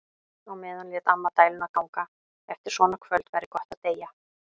Á meðan lét amma dæluna ganga: Eftir svona kvöld væri gott að deyja.